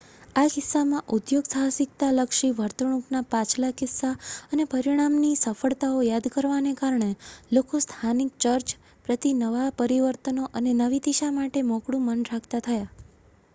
આ કિસ્સામાં ઉદ્યોગસાહસિકતાલક્ષી વર્તણૂકના પાછલા કિસ્સા અને પરિણામી સફળતાઓ યાદ કરવાને કારણે લોકો સ્થાનિક ચર્ચ પ્રતિ નવાં પરિવર્તનો અને નવી દિશા માટે મોકળું મન રાખતા થયા